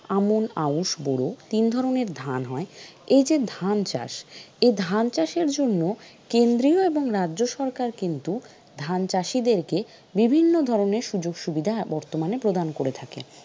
আমন আউশ বোরো তিন ধরনের ধান হয়, এই যে ধান চাষ এই ধান চাষের জন্য কেন্দ্রীয় এবং রাজ্য সরকার কিন্তু ধান চাষীদের কে বিভিন্ন ধরনের সুযোগ-সুবিধা বর্তমানে প্রদান করে থাকে।